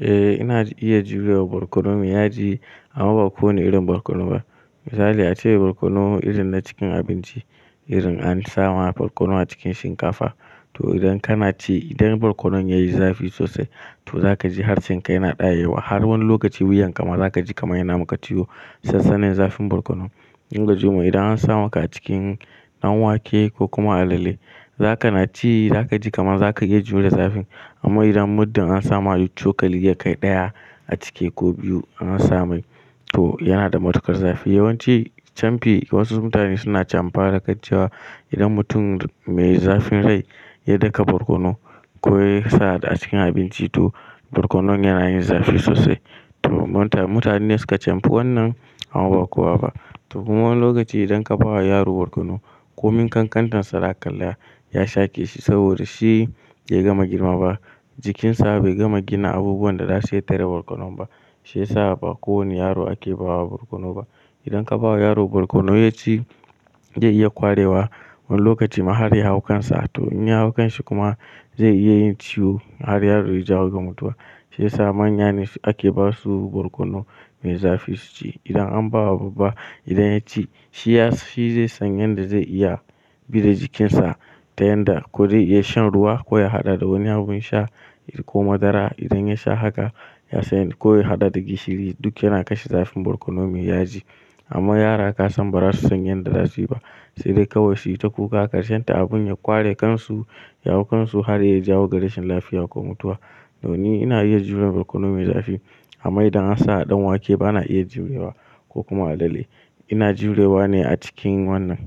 Eh ina iya jurewa borkono me yaji amma ba kowane irin borkono ba. Misali ace borkonon irin na cikin abinci, irin an sawa borkono a cikin shinkafa. To idan kana ci idan borkonon yayi zafi sosai to zaka ji harshenka yana ɗayewa har wani lokaci wuyan ka ma zaka ji kamar yana maka ciwo sassanin zafin borkono idan an sa maka cikin ɗan wake ko kuma alale, za kana ci za ka ji kamar za ka iya jure da zafin. Amma idan muddin an sama cokali ya kai ɗaya a ciki ko biyu ansa mai to yana da matuƙar zafi. Yawanci canfi wasu mutane suna chamfa da kaciya. Idan mutum mai zafin rai ya daka borkono ko ya sa a cikin abinci to borkonon yana yin zafi sosai. To mutane suka chamfi wannan amma ba kowa ba. To kuma wani lokaci idan ka ba wa yaro borkono ko min kankantarsa da kalla ya shake shi saboda shi bai gama girma ba. Jikinsa bai gama gina abubuwan da za su tare borkono ba shiyasa ba kowane yaro ake bawa borkono ba. Idan ka bawa yaro borkono ya ci zai iya kwarewa wani lokaci ma har ya hau kansa. To in ya hau kanshi kuma zai iya yin ciwo har ya jawo ga mutuwa. Shiyasa manya ne ake basu borkono mai zafi su ci. Idan an bawa babba idan ya ci shi ya, shi zai san yadda zai iya bi da jikinsa ta yanda ko zai iya shan ruwa ko ya haɗa da wani abun sha ko madara. Idan ya sha haka ya sani ko ya haɗa da gishiri duk yana kashe zafin borkono me yaji. Amma yara ka san ba za su san yadda za su yi ba. Sai dai kawai su yi ta kuka karshen ta abun ya kware kansu, ya hau kansu har ya jawo ga rashin lafiya ko mutuwa. Don ni ina iya jure borkono mai zafi amma idan an sa a ɗan wake ba na iya jurewa ko kuma alale. Ina jurewa ne a cikin wannan.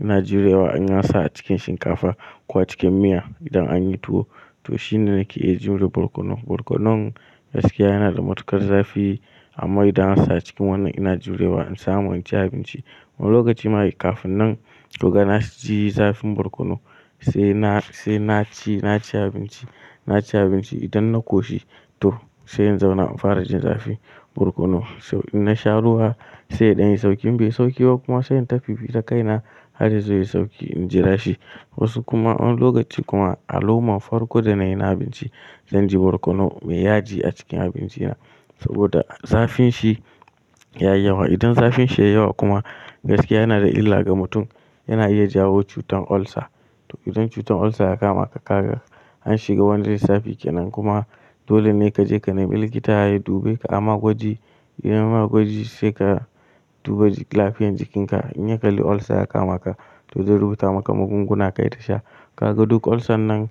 Ina jurewa in an sawa a cikin shinkafa ko a cikin miya. Idan anyi tuwo to shine nake iya jure borkono. Borkonon gaskiya yana da matuƙar zafi amma idan an sa a cikin wannan ina jurewa in samu in ci abinci. Wani lokaci ma kafin nan to ga na ji zafin borkono sai na ci, na ci abinci, na ci abinci idan na koshi to sai in zauna in fara jin zafin borkono. To in na sha ruwa sai ya ɗanyi sauki in bai sauki ba kuma sai in ta fifitan kaina har yazo yayi sauki in jira shi. Wasu kuma wani lokaci kuma a loman farko da na yi na abinci zan ji borkono mai yaji a cikin abinci na saboda zafin shi ya yi yawa. Idan zafin shi ya yi yawa kuma gaskiya yana da illa ga mutum. Yana iya jawo cutar ulcer. To idan cutar ulcer ya kama ka, ka ga an shiga wani lissafi kenan kuma dole ne ka je ka nemi likita ya dube ka ai ma gwaji. Idan magwaji sai ka duba lafiyar jikinka. In ya kalli ulcer ya kama ka to zai rubuta maka magunguna kai ta sha. Kaga duk ulcer nan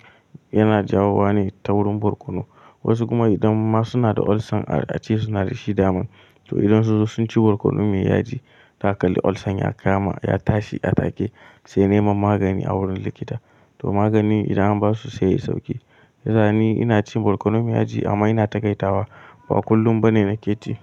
yana jawo wa ne ta wurin borkono. Wasu kuma idan ma suna da ulcer a ce suna da shi daman to idan su sun ci borkono mai yaji, ta kalli ulcer ya kama ya tashi a take sai neman magani a wurin likita. To maganin idan an basu sai yai isauƙi. Da zani ina cin borkono mai yaji amma ina takaitawa ba kullum bane na ke ci.